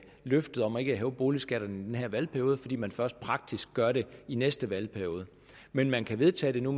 løftet om ikke at hæve boligskatterne i den her valgperiode fordi man først praktisk gør det i næste valgperiode men men kan vedtage det nu